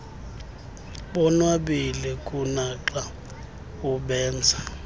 bonwabile kunaxa ubenza